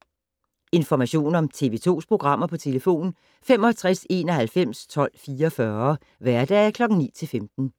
Information om TV 2's programmer: 65 91 12 44, hverdage 9-15.